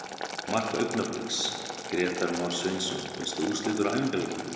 Mark Augnabliks: Grétar Már Sveinsson Veistu úrslit úr æfingaleikjum?